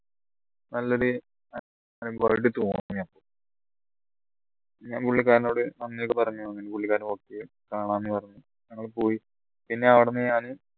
നല്ലൊരു ഞാൻ പുള്ളിക്കാരൻന്നോട് നന്ദി ഒക്കെ പറഞ്ഞു അങ്ങനെ പുള്ളിക്കാരൻ കാണാന് പറഞ്ഞു ഞങ്ങളും പോയി പിന്നെ അവിടുന്ന് ഞാൻ